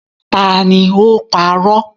Ta ni ó́ parọ̀?